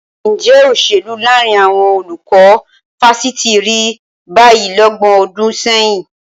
Ǹjẹ́ òṣèlú láàrin àwọn olùkọ́ fásitì rí báyìí lọ́gbọ̀n ọdún sẹ́yìn?